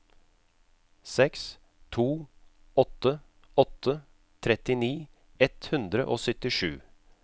seks to åtte åtte trettini ett hundre og syttisju